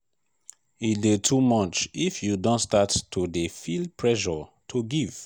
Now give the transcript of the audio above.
e de too much if you don start to de feel pressure to give